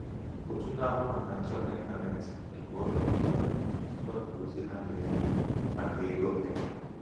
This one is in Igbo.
òtù na-ahụ màkà nchekwa ịntanetị nke ụlọ ọrụ ahụ wepụrụ ozi ha na-enyo enyo maka ego m n'intanetị.